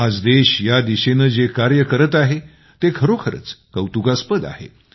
आज देश या दिशेने जे कार्य करत आहे ते खरोखरच कौतुकास्पद आहे